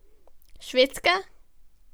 Švedska?